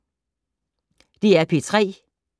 DR P3